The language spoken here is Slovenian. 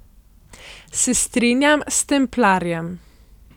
Se strinjam s templarjem.